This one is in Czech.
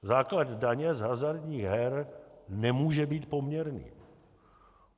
Základ daně z hazardních her nemůže být poměrný.